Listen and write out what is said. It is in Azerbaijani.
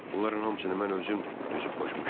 Bunların hamısını mən özüm düzüb qoşmuşdum.